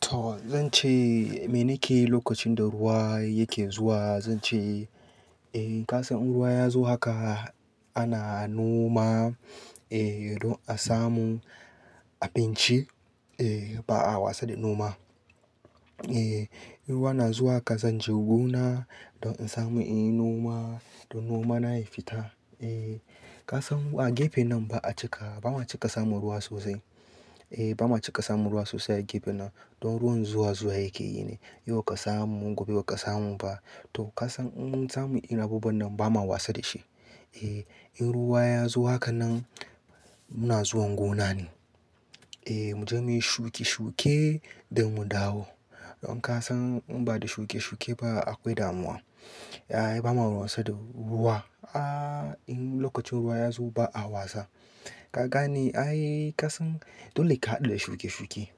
To zan ce me nake lokacin da ruwa yake zuwa zan ce, eh ka san in ruwa ya zo haka ana noma eh don a samu abinci eh ba a wasa da noma. Eh in ruwa na zuwa ka san je gona don in samu inyi noma don noma na ya fita. Eh ka san a gefe nan ba a cika, ba ma cika samu ruwa sosai. Eh ba ma cika samu ruwa sosai a gefe nan don ruwan zuwa zuwa yake yi ne. Yau ka samu, gobe ba ka samu ba. To ka san in mun samu irin abubuwan nan ba ma wasa da shi. Eh in ruwa ya zo haka nan muna zuwan gona ne. Eh mu je muyi shuki shuke don mu dawo. Don ka san in ba da shuke shuke ba akwai damuwa. Ai ba ma wasa da ruwa. Ah in lokacin ruwa ya zo ba a wasa. Ka gane? Ai ka san dole ka haɗu da shuke shuke.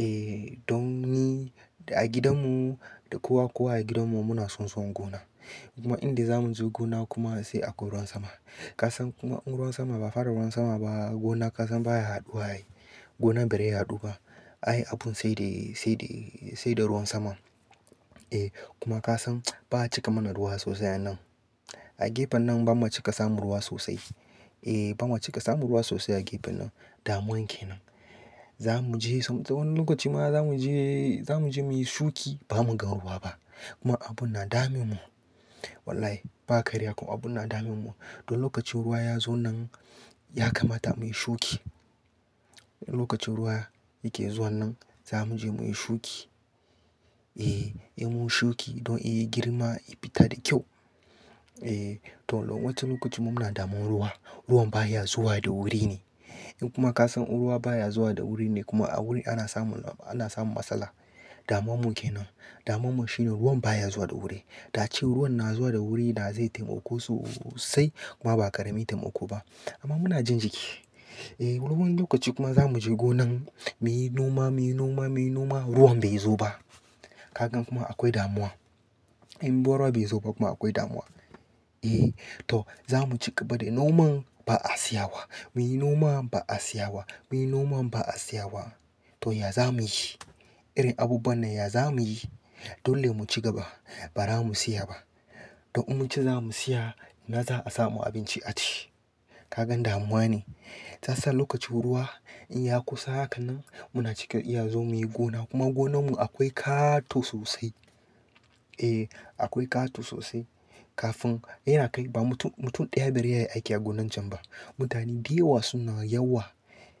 Eh don ni a gidanmu da kowa kowa a gidanmu muna so zuwan gona. Kuma in dai za mu zo gona kuma sai akwai ruwan sama. Ka san kuma in ruwan sama ba fara ruwan sama ba gona ka san baya yaɗuwa. Gona bai rai yaɗu ba. Ai abun sai dai, sai dai, sai da ruwan sama. Eh kuma ka san ba a cika mana ruwa sosai a nan. A gefen nan ba ma cika samu ruwa sosai. Eh ba ma cika samu ruwa sosai a gefen nan. Damuwan ke nan. Za mu je sam wani wa lokaci ma za mu je, za mu je muyi shuki ba mu ga ruwa ba. Kuma abun na damin mu. Wallahi ba karya kuma abun na damin mu. Don lokacin ruwa ya zo nan ya kamata muyi shuki. In lokacin ruwa yake zuwa nan za mu je muyi shuki. Eh, eh mun shuki don in yi girma, ya fita da kyau. Eh to don wancan lokacin mun na damuwar ruwa. Ruwan baya zuwa da wuri ne. In kuma ka san in ruwa baya zuwa da wuri ne kuma a wuri ana samu, ana samu matsala. Damuwan mu ke nan. Damuwan mu shine ruwan baya zuwa da wuri. Da ace ruwan na zuwa da wuri na zai taimako sosai kuma ba kare min taimako ba. Amma muna jin jiki. Eh wani lokaci kuma za mu je gonan muyi noma, muyi noma, muyi noma ruwan bai zo ba. Ka gan kuma akwai damuwa. In ruwa bai zo ba kuma akwai damuwa. Eh to za mu ci gaba da noman ba a siya wa. Muyi noman ba a siya wa. Muyi noman ba a siya wa. To ya za muyi? Irin abubuwan nan ya za muyi? Dole mu ci gaba ba ra mu siya ba. Don in mu ci za mu siya, ina za a samu abinci a ci? Ka gan damuwa ne. Tassan lokacin ruwa in ya kusa haka nan muna cika iya zuwa muyi gona kuma gonan mu akwai ƙato sosai. Eh akwai ƙato sosai. Kafin yana kai ba mutum, mutum ɗaya bai rai iya yayi aiki a gonan can ba. Mutane dayawa suna yawa.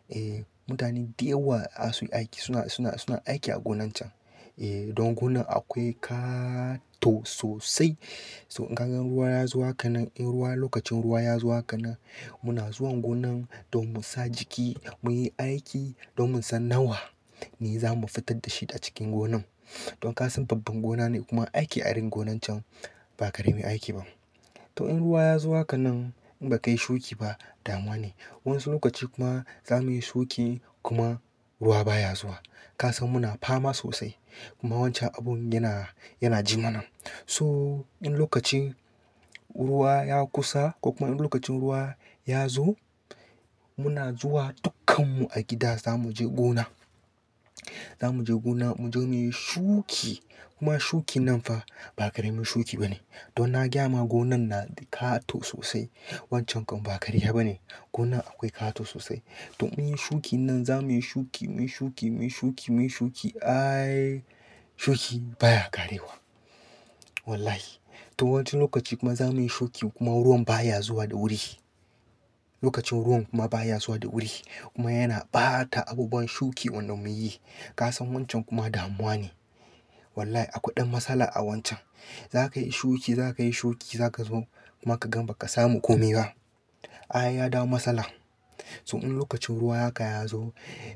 Eh mutane dayawa asu aiki suna, suna, suna aiki a gonan can. Eh don gonan akwai ƙato sosai. So in ka gan ruwa ya zo haka nan, in ruwa lokacin ruwa ya zo haka nan muna zuwan gonan don mu sa jiki, muyi aiki don mu san nawa ne za mu fitar da shi a cikin gonan. Don ka san babban gona ne kuma aiki a irin gonan can ba kare min aiki ba. To in ruwa ya zuwa haka nan in ba kai shuki ba damuwa ne. Wani lokaci kuma za muyi shuki kuma ruwa baya zuwa. Ka san muna fama sosai. Kuma wancan abun yana, yana ji mana. So in lokacin ruwa ya kusa ko kuma in lokacin ruwa ya zo muna zuwa dukkan mu a gida za mu je gona. Za mu je gona mu je muyi shuki. Kuma shuki nan fa ba karemin shuki ba ne. Don na gyama gonan na da ƙato sosai. Wancan kam ba karya ba ne. Gonan akwai ƙato sosai. Don muyi shuki nan za muyi shuki, muyi shuki, muyi shuki, muyi shuki. Ai shuki baya ƙarewa. Wallahi. To wancin lokaci kuma za muyi shuki kuma ruwan baya zuwa da wuri. Lokacin ruwan kuma baya zuwa da wuri. Kuma yana ɓata abubuwan shuki wanda mun yi. Ka san wancan kuma damuwa ne. Wallahi akwai ɗan matsala a wancan. Za ka yi shuki, za ka yi shuki, za ka zo kuma ka gan ba ka samu komai ba. Ai ya dawo matsala. So in lokacin ruwa haka ya zo,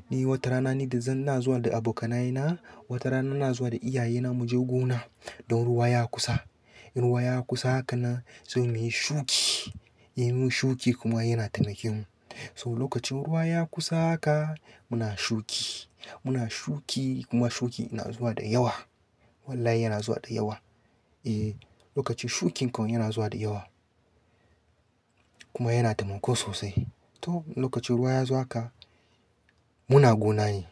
ni wata rana ni da zan ina zuwa da abokanaye na, wata rana na zuwa da iyaye na mu je gona. Don ruwa ya kusa. In ruwa ya kusa haka nan, sai muyi shuki. Eh min muyi shuki kuma yana taimaken mu. So lokacin ruwa ya kusa haka muna shuki. Muna shuki kuma shuki yana zuwa da yawa. Wallahi yana zuwa da yawa. Eh lokacin shukin kan yana zuwa da yawa. Kuma yana taimakon sosai. To lokacin ruwa ya zuwa haka muna gonane.